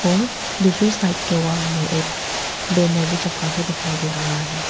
और दूसरे साइड के वाल में एक बैनर भी चपका के दिखाई दे रहा है।